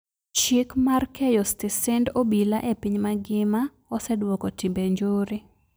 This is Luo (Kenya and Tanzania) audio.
Chik mar keyo stesend obila e piny magima oseduoko timbe njore